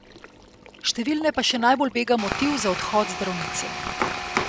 Številne pa še najbolj bega motiv za odhod zdravnice.